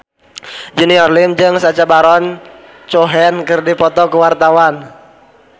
Junior Liem jeung Sacha Baron Cohen keur dipoto ku wartawan